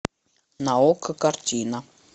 на окко картина